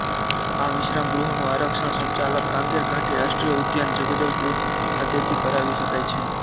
આ વિશ્રામગૃહોનું આરક્ષણ સંચાલક કાંગેર ઘાટી રાષ્ટ્રીય ઉદ્યાન જગદલપુર ખાતેથી કરાવી શકાય છે